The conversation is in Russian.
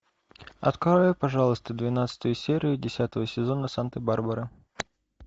открой пожалуйста двенадцатую серию десятого сезона санта барбара